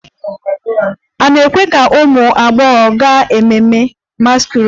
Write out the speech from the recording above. A na-ekwe ka ụmụ agbọghọ gaa ememme masquerade?